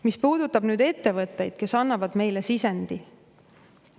Mis puudutab nüüd ettevõtteid, kes annavad meile sisendi.